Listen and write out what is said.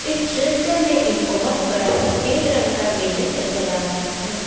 दृश्य में एक बहुत बड़ा सफेद रंग का बिल्डिंग नजर आ रहा है।